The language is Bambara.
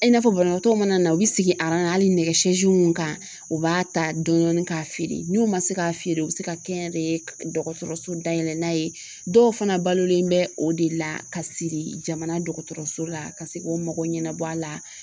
I n'a fɔ banabaatɔw mana na ,u be sigi nɛgɛ munnu kan u b'a ta dɔɔni dɔɔni ka feere n'u ma se ka feere u be se ka kɛ n yɛrɛ ye dɔgɔtɔrɔso dayɛlɛ n'a ye dɔw fana balolen bɛ o de la ka siri jamana dɔgɔtɔrɔso la ka se k'o mago ɲɛnabɔ a la.